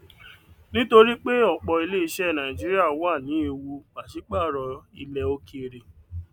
nítorí pé ọpọ ilé iṣẹ nàìjíríà wà nẹe ewu pàṣípàrọ ilẹ òkèèrè